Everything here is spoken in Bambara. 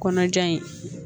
Kɔnɔja in